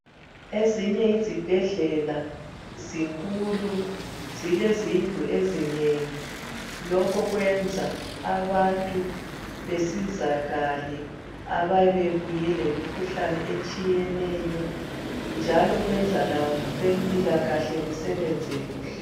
Ezinye izibhedlela zinkulu zilezindlu ezinengi lokho kwenza abantu besizakala abayabe babuye lemikhuhlane etshiyeneyo njalo kwenza labezempilakahle basebenze kuhle